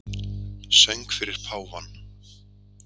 Söng fyrir páfann